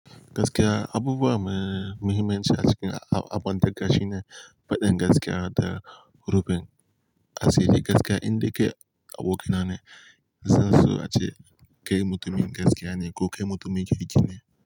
Gaskiya abubuwa me muhimmanci a cikin abun dukka shine faɗin gaskiya da rufin asiri. Gaskiya indai kai abokina ne, zanso ace kai mutumin gaskiya ne ko kai mutumin kirki ne.